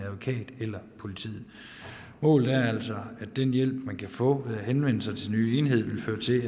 advokat eller politiet målet er altså at den hjælp man kan få ved at henvende sig til den nye enhed vil føre til